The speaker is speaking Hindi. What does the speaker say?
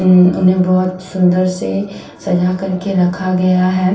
उम्म इन्हें बोहोत सुन्दर से सजा कर के रखा गया है।